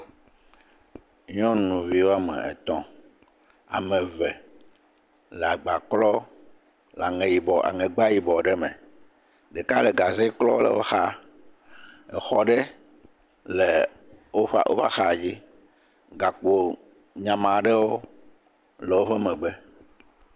Nyɔnuvi woame etɔ̃, ame eve le agba klɔ le aŋegba yibɔ aŋegba yibɔ ɖe me, ɖeka le gaze klɔ le wo xa, exɔ ɖe le woƒe axadzi, gakpo nyamaa aɖewo le woƒe megbe.